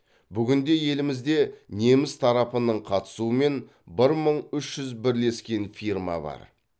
бүгінде елімізде неміс тарапының қатысуымен бір мың үш жүз бірлескен фирма бар